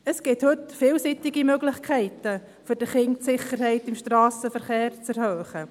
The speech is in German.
Es gibt heute vielseitige Möglichkeiten, um für Kinder die Sicherheit im Strassenverkehr zu erhöhen.